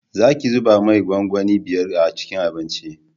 Za ki zuba mai gwangwani biyar a cikin abinci